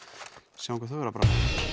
sjáum hvað þau eru að brasa